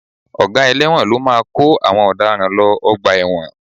Ọ̀gá ẹlẹ́wọ̀n ló máa kó àwọn ọ̀daràn lọ ọgbà ẹ̀wọ̀n